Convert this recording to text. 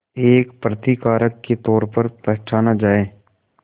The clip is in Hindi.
एक प्रतिकारक के तौर पर पहचाना जाए